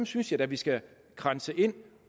synes jeg da vi skal kranse ind